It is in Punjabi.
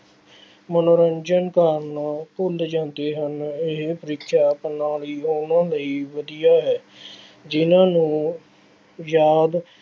ਮਨੋਰੰਜਨ ਕਰਨਾ ਭੁੱਲ ਜਾਂਦੇ ਹਨ। ਇਹ ਪ੍ਰੀਖਿਆ ਪ੍ਰਣਾਲੀ ਉਹਨਾ ਲਈ ਵਧੀਆ ਹੈ, ਜਿੰਨ੍ਹਾ ਨੂੰ ਯਾਦ